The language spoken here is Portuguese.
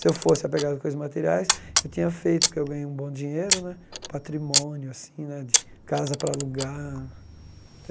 Se eu fosse apegado com coisas materiais, eu tinha feito que eu ganho um bom dinheiro né, patrimônio assim né, de casa para alugar.